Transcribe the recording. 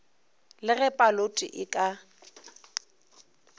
le ge paloto e ka